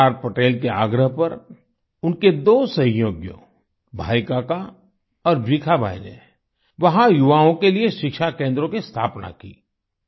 सरदार पटेल के आग्रह पर उनके दो सहयोगियों भाई काका और भीखा भाई ने वहां युवाओं के लिए शिक्षा केंद्रों की स्थापना की